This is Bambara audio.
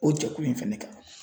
O jɛkulu in fɛnɛ kan